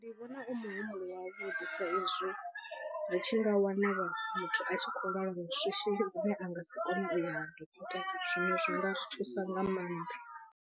Ndi vhona u muhumbulo wavhuḓi saizwi ri tshi nga wana muthu a tshi khou lwala lwa shishi lune a nga si kone u ya ha dokotela zwino zwi nga ri thusa nga maanḓa.